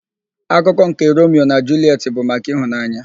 Akụkọ nke Romio na Julietị bụ maka ịhụnanya.